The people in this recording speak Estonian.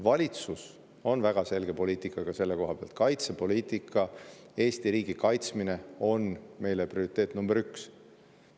Valitsusel on selle koha pealt väga selge poliitika: kaitsepoliitika, Eesti riigi kaitsmine on meile prioriteet nr 1.